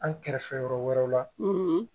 An kɛrɛfɛ yɔrɔ wɛrɛw la